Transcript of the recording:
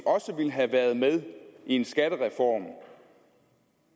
også ville have været med i en skattereform